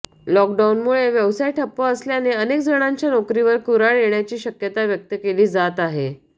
लॉकडाऊनमुळे व्यवसाय ठप्प असल्याने अनेकजणांच्या नोकरीवर कुऱ्हाड येण्याची शक्यता व्यक्त केली जात आहे